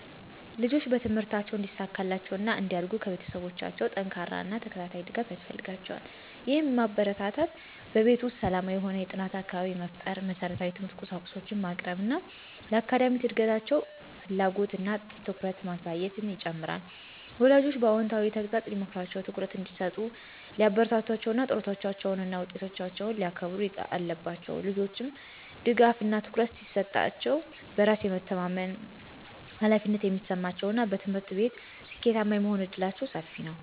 ልጆች በትምህርታቸው እንዲሳካላቸው እና እንዲያድርጉ ከቤተሰቦቻቸው ጠንካራ እና ተከታታይ ድጋፍ ያስፈልጋቸዋል። ይህም ማበረታታት፣ በቤት ውስጥ ሰላማዊ የሆነ የጥናት አካባቢ መፍጠር፣ መሰረታዊ የትምህርት ቁሳቁሶችን ማቅረብ እና ለአካዳሚክ እድገታቸው ፍላጎት እና ትኩረትን ማሳየትን ይጨምራል። ወላጆችም በአዎንታዊ ተግሣጽ ሊመክሯቸው፣ ትኩረት እንዲሰጡ ሊያበረታቷቸው እና ጥረቶቻቸውን እና ውጤቶቻቸውን ሊያከንሩ አለባቸው። ልጆች ድጋፍ እና ትኩረት ሲሰጣሸው በራስ የሚተማመመኑ፣ ኃላፊነት የሚሰማቸው እና በትምህርት ቤት ስኬታማ የመሆን እድላቸው ሰፊ ነው።